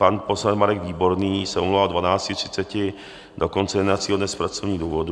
Pan poslanec Marek Výborný se omlouvá od 12.30 do konce jednacího dne z pracovních důvodů.